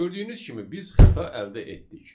Gördüyünüz kimi biz xəta əldə etdik.